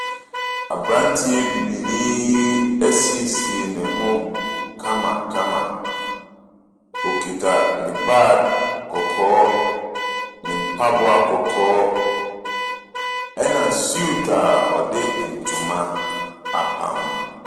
Abranteɛ bibinii yi ɛsiesie ne ho kamakama. Ɔkuta ne bag kɔkɔɔ, ne mpaboa kɔkɔɔ ɛna suit a ɔde ntoma apam.